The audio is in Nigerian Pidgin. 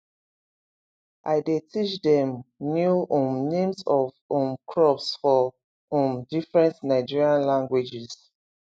i dey teach dem new um names of um crops for um different nigerian languages